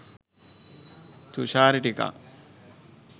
තුශාරි ටිකක්